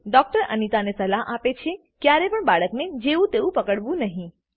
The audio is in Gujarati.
ડોક્ટર અનીતા ને સલાહ આપે છે કે ક્યારે પણ બાળક ને જેવું તેવું પકડવું નહી